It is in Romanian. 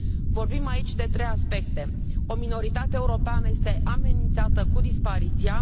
Vorbim aici de trei aspecte 1 o minoritate europeană este amenințată cu dispariția